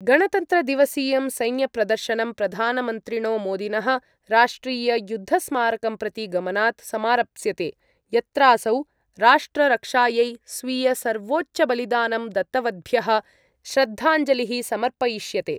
गणतन्त्रदिवसीयं सैन्यप्रदर्शनं प्रधानमन्त्रिणो मोदिनः राष्ट्रिययुद्धस्मारकं प्रति गमनात् समारप्स्यते यत्रासौ राष्ट्ररक्षायै स्वीयसर्वोच्चबलिदानं दत्तवद्भ्यः श्रद्धांजलिः समर्पयिष्यते।